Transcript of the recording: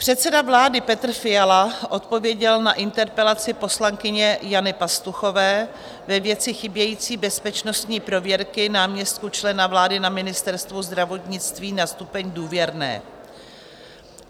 Předseda vlády Petr Fiala odpověděl na interpelaci poslankyně Jany Pastuchové ve věci chybějící bezpečnostní prověrky náměstků člena vlády na Ministerstvu zdravotnictví na stupeň "důvěrné".